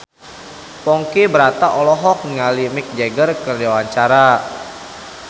Ponky Brata olohok ningali Mick Jagger keur diwawancara